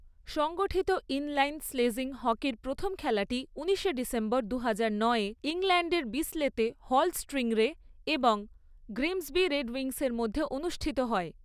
সংগঠিত ইনলাইন স্লেজিং হকির প্রথম খেলাটি উনিশে ডিসেম্বর, দুহাজার নয়ে ইংল্যান্ডের বিসলেতে হল স্টিংরে এবং গ্রিমসবি রেডউইংসের মধ্যে অনুষ্ঠিত হয়।